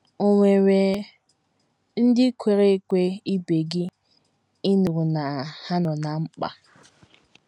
Ò nwere ndị kwere ekwe ibe gị ị nụrụ na ha nọ ná mkpa?